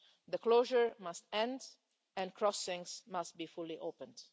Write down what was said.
The closure must end and crossings must be fully opened.